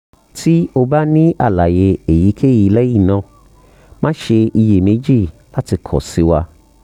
ti o ba ni alaye eyikeyi lẹhinna ma ṣe iyemeji lati kọ si wa